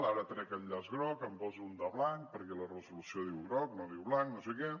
ara trec el llaç groc en poso un de blanc perquè la resolució diu groc no diu blanc no sé què